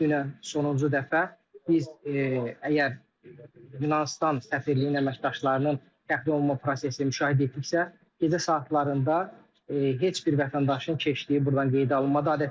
Dünən sonuncu dəfə biz əgər Yunanıstan səfirliyinin əməkdaşlarının təxliyə olunma prosesini müşahidə etdiksə, gecə saatlarında heç bir vətəndaşın keçdiyi burdan qeydə alınmadı.